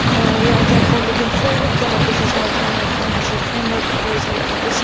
We are therefore looking forward to an ambitious multiannual financial framework proposal in